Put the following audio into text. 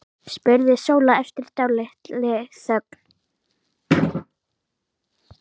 spurði Sóla eftir dálitla þögn.